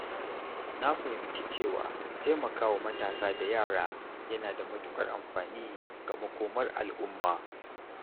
Na fahimci cewa taimakawa matasa da yara yana da matuƙar amfani ga makomar al’umma.